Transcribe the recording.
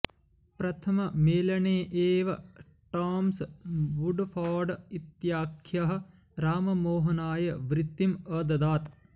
प्रथममेलने एव Thomas Woodford इत्याख्यः राममोहनाय वृत्तिम् अददात्